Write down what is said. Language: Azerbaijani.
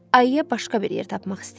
ayıya başqa bir yer tapmaq istəyirəm.